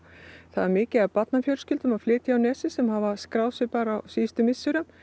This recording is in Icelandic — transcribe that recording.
það er mikið af barnafjölskyldum að flytja á nesið sem hafa skráð sig á síðustu misserum